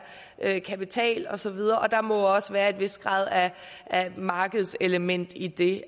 er kapital og så videre og der må også være en vis grad af markedselement i det